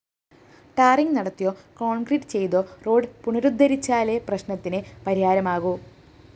tarring നടത്തിയോ concrete ചെയ്‌തോ road പുനരുദ്ധരിച്ചാലേ പ്രശ്‌നത്തിന് പരിഹാരമാകൂ